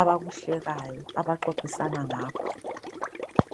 abakuhlekayo abaxoxisana ngakho.